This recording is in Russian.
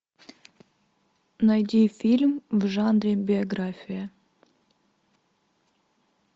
найди фильм в жанре биография